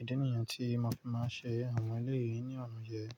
Idi ni yen tí mo fi máa ń ṣe àwọn eleyìí ní ọ̀nà yẹn.